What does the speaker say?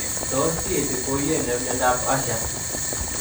Tos kiinti ko wuuy nee myondap Usher?